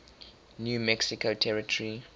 new mexico territory